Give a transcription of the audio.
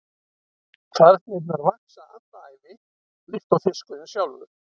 Kvarnirnar vaxa alla ævi líkt og fiskurinn sjálfur.